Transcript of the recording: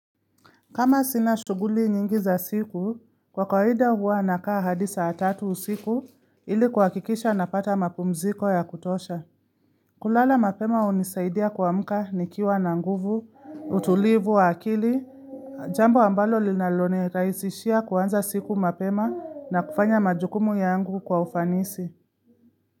Kama sina shughuli nyingi za siku, kwa kawaida huwa nakaa hadi saa tatu usiku ili kuhakikisha napata mapumziko ya kutosha. Kulala mapema hunisaidia kuamka nikiwa na nguvu, utulivu wa akili, jambo ambalo linalonirahisishia kuanza siku mapema na kufanya majukumu yangu kwa ufanisi.